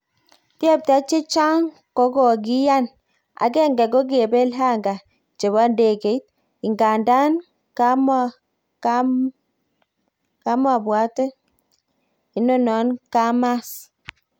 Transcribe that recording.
Tyepta chechaaang kokokiyaan ,agenge ko kepel hanga chepo ndegeit ,ingandan kampwatet inano kamas